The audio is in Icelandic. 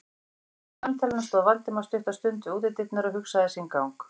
Að loknu samtalinu stóð Valdimar stutta stund við útidyrnar og hugsaði sinn gang.